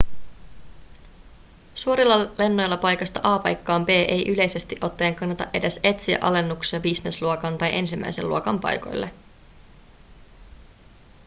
suorilla lennoilla paikasta a paikkaan b ei yleisesti ottaen kannata edes etsiä alennuksia businessluokan tai ensimmäisen luokan paikoille